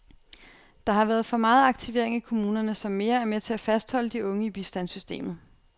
Der har været for meget aktivering i kommunerne, som mere er med til at fastholde de unge i bistandssystemet.